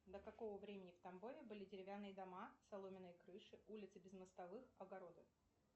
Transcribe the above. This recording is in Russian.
до какого времени в тамбове были деревянные дома соломенные крыши улицы без мостовых огороды